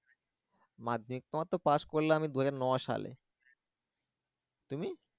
মাধ্যমিক আমার তো পাস করলাম দুহাজার নয় সালে তুমি?